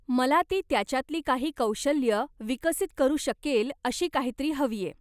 मला ती त्याच्यातली काही कौशल्यं विकसित करू शकेल अशी काहीतरी हवीय.